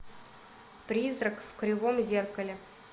призрак в кривом зеркале